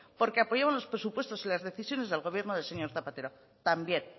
porque apoyaron los presupuestos y las decisiones del gobierno del señor zapatero también